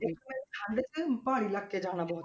ਮੈਨੂੰ ਤੇ ਠੰਢ 'ਚ ਪਹਾੜੀ ਇਲਾਕੇ ਜਾਣਾ ਬਹੁਤ